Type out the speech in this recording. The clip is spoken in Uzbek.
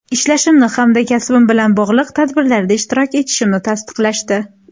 Ishlashimni hamda kasbim bilan bog‘liq tadbirlarda ishtirok etishimni taqiqlashdi.